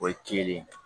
O ye kelen ye